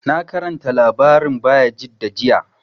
Na karanta labarin Bayajidda jiya